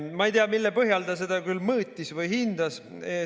Ma ei tea, mille põhjal ta seda küll mõõtis või hindas.